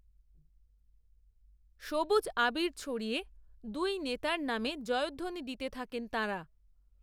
সবুজ আবির ছড়িয়ে দুই নেতার নামে জয়ধ্বনি দিতে থাকেন তাঁরা